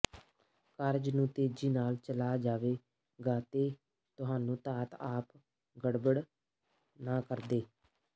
ਕਾਰਜ ਨੂੰ ਤੇਜ਼ੀ ਨਾਲ ਚਲਾ ਜਾਵੇਗਾ ਅਤੇ ਤੁਹਾਨੂੰ ਧਾਤ ਅਪ ਗੜਬੜ ਨਾ ਕਰਦੇ